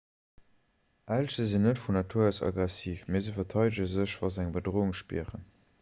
elche sinn net vun natur aus aggressiv mee se verteidege sech wa se eng bedroung spieren